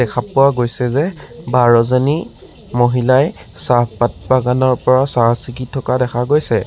দেখা পোৱা গৈছে যে বাৰজনী মহিলাই চাহপাত বাগানৰ পৰা চাহ চিঙি থকা দেখা গৈছে।